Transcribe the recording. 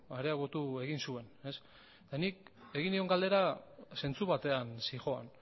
areagotu egin zuen ez eta nik egin nion galdera zentzu batean zihoan